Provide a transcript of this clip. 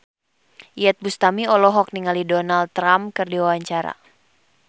Iyeth Bustami olohok ningali Donald Trump keur diwawancara